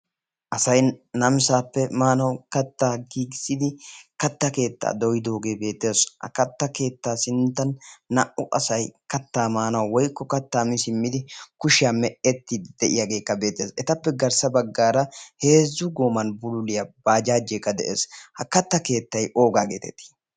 asay namisaappe maanau kattaa gigisidi katta keettaa doyidoogee beeteesu ha katta keettaa sinttan naa''u asay kattaa maanau woykko kattaa mii simmidi kushiyaa me''etti de'iyaageekka beetees etappe garssa baggaara heezzu goman bululiyaa baajaajeekka de'ees ha katta keettay oogaa geetetii